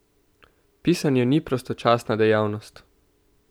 Pisanje ni prostočasna dejavnost!